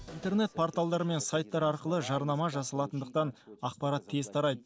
интернет порталдар мен сайттар арқылы жарнама жасалатындықтан ақпарат тез тарайды